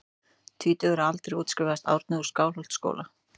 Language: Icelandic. Tvítugur að aldri útskrifaðist Árni úr Skálholtsskóla.